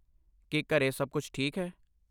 ਕੀ ਘਰੇ ਸਭ ਕੁਝ ਠੀਕ ਹੈ?